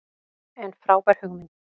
En frábær hugmynd.